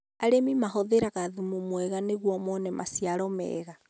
arĩmi mahũthagĩra thumu mwega nĩgũo moone maciaro meega